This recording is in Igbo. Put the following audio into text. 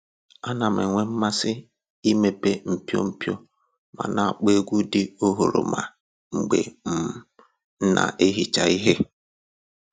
A na m-enwe mmasị imepe mpio mpio ma na-akpọ egwu dị oghoroma mgbe um m na-ehicha ihe